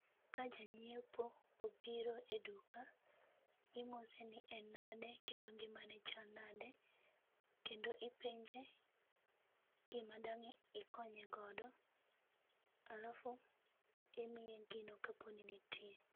Ka janyiepo obiro e duka imose ni en nade kendo ngimane chal nade kendo ipenje gima dang' ikonye godo alafu imiye gino kaponi nitie